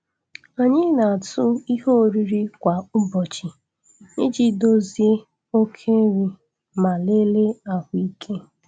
Anyị na-atụ ihe oriri kwa ụbọchị iji dozie oke nri ma lelee ahụike.